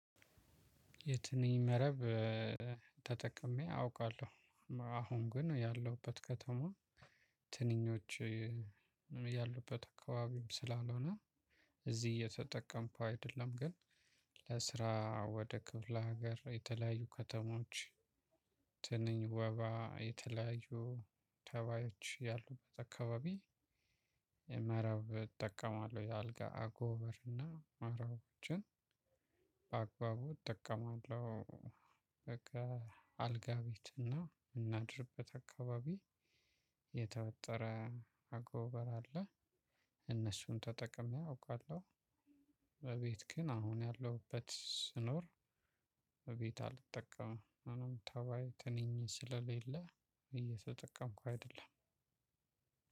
የትንኝ መረብ ተጠቅሜ አውቃለሁ። አሁን ግን ያለሁበት ከተማ ትንኞች ያሉበት አካባቢ ስላልሆነ እዚህ እየተጠቀምኩ አይደለም ግን ለስራ ወደ ክፍለ ሀገር የተለያዩ ከተሞች ትንኝ ወባ የተለያዩ ተባዮች ያሉበት አከባቢ መረብ እጠቀማለሁ። የአልጋ አጎበርና መረቦችን በአግባቡ እጠቀማለሁ። በቃ አልጋ ቤት እና የምናድርበት አካባቢ የተወጠረ አጎበር አለ። እነሱን ተጠቅሜ አውቃለሁ። በቤት ግን አሁን ያለሁበት ስኖር በቤት አልጠቀምም። ተባይ ትንኝ ስለሌለ እየተጠቀምኩ አይደለም።